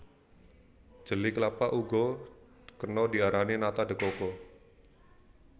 Jeli klapa uga kena diarani nata de coco